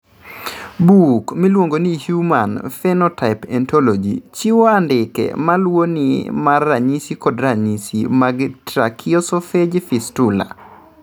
Buk miluongo ni Human Phenotype Ontology chiwo andike ma luwoni mar ranyisi kod ranyisi mag Tracheoesophageal fistula.